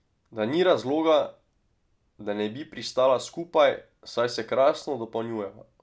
Da ni razloga, da ne bi pristala skupaj, saj se krasno dopolnjujeva.